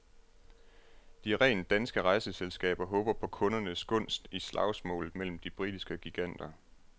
De rent danske rejseselskaber håber på kundernes gunst i slagsmålet mellem de britiske giganter.